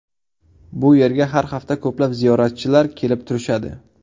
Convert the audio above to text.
Bu yerga har hafta ko‘plab ziyoratchilar kelib turishadi.